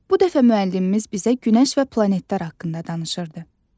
Bu dəfə müəllimimiz bizə Günəş və planetlər haqqında danışırdı.